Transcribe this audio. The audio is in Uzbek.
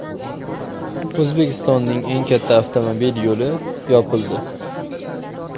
O‘zbekistonning eng katta avtomobil yo‘li yopildi.